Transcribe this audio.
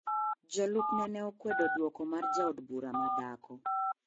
Jolupne ne okwedo duoko mar jaod bura ma dhako.